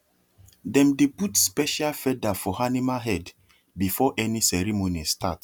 dem dey put special feather for animal head before any ceremony start